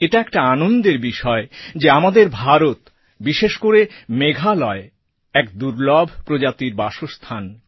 এটা একটা আনন্দের বিষয় যে আমাদের ভারত বিশেষ করে মেঘালয় এক দুর্লভ প্রজাতির বাসস্থান